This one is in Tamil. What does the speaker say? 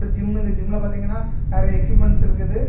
ஜிம்மு இந்த ஜிம்ல பாத்தீங்கன்னா நெறைய எக்யூப்மெண்ட்ஸ் இருக்குது.